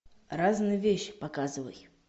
разные вещи показывай